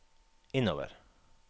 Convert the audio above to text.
innover